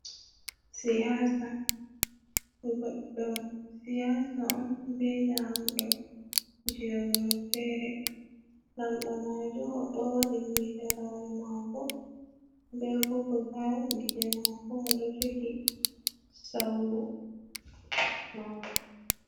Goddo siyasa on be lamɗo je wuro fere, lamɗo majum o ɗo waɗi midarawol mako be bogol halije mako do jogi sauru mako.